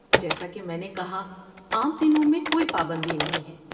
جیسا کہ میں نے کہا، عام دنوں میں کوئی پابندی نہیں ہے۔